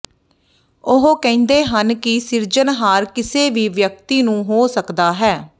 ਉਹ ਕਹਿੰਦੇ ਹਨ ਕਿ ਸਿਰਜਣਹਾਰ ਕਿਸੇ ਵੀ ਵਿਅਕਤੀ ਨੂੰ ਹੋ ਸਕਦਾ ਹੈ